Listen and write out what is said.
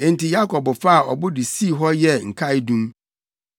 Enti Yakob faa ɔbo de sii hɔ yɛɛ nkaedum.